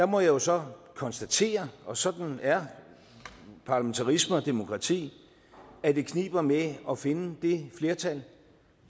må jeg jo så konstatere og sådan er parlamentarisme og demokrati at det kniber med at finde det flertal